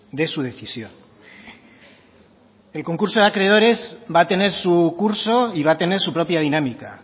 de su decisión el concurso de acreedores va a tener su curso y va a tener su propia dinámica